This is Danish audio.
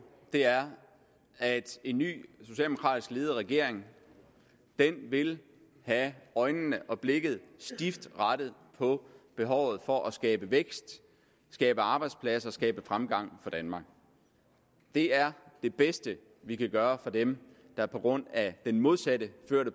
er at en ny socialdemokratisk ledet regering vil have øjnene og blikket stift rettet mod behovet for at skabe vækst skabe arbejdspladser skabe fremgang for danmark det er det bedste vi kan gøre for dem der på grund af den modsatte